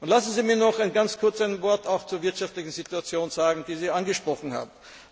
Lassen Sie mich noch ganz kurz ein Wort auch zur wirtschaftlichen Situation sagen, die Sie angesprochen haben.